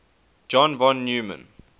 john von neumann